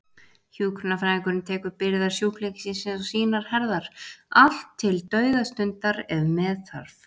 Hjúkrunarfræðingurinn tekur byrðar sjúklingsins á sínar herðar, allt til dauðastundar ef með þarf.